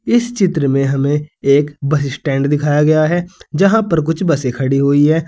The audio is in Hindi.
इस चित्र में हमें एक बस स्टैंड दिखाया गया है जहां पर कुछ बसें खड़ी हुई है।